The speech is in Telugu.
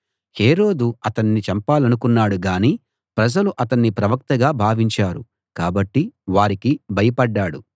హేరోదు అతన్ని చంపాలనుకున్నాడు గాని ప్రజలు అతన్ని ప్రవక్తగా భావించారు కాబట్టి వారికి భయపడ్డాడు